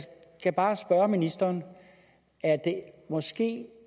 skal bare spørge ministeren er det måske